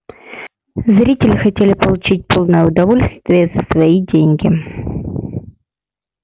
зрители хотели получить полное удовольствие за свои деньги